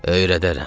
Öyrədərəm.